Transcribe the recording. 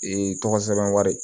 Ee tɔgɔ sɛbɛn wari